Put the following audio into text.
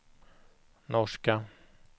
norska